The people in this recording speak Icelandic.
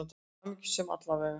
Hamingjusöm, alla vega.